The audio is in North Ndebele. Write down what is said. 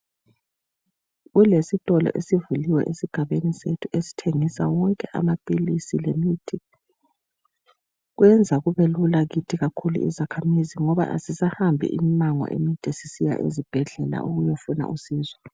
Kulesitolo esivuliwe esigabeni sethu esithengisa wonke amaphilisi lemithi , kwenza kubelula kithi kakhulu izakhamizi ngoba kasisahambi immango emide sisiya ezibhedlela sisiyafuna usizo